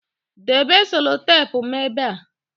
debe selotepu m eba